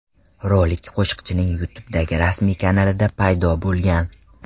Rolik qo‘shiqchining YouTube’dagi rasmiy kanalida paydo bo‘lgan .